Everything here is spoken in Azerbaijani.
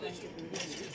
La qardaşım.